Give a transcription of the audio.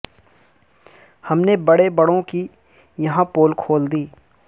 ہم نے بڑے بڑوں کی یہاں پول کھول دی